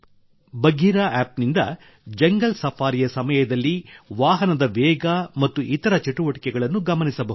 Bagheera app Appನಿಂದ jungle ಸಫಾರಿಯ ಸಮಯದಲ್ಲಿ ವಾಹನದ ವೇಗ ಮತ್ತು ಇತರ ಚಟುವಟಿಕೆಗಳನ್ನು ಗಮನಿಸಬಹುದು